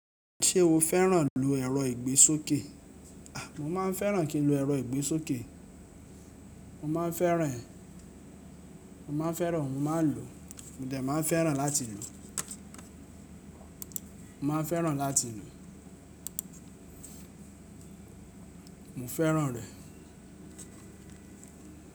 Ṣé o fẹ́ràn lo ẹ̀rọ ìgbésókè? A! Mo máa ń fẹ́ràn kí lu ẹ̀rọ ìgbésókè. Mo má ń fẹ́ràn ẹ. Mo má ń fẹ́ràn, mo ma ń lo. Mo dà má ń fẹ́ràn láti lo. Mo ma ń fẹ́ràn láti lo. Mo fẹ́ràn rẹ̀.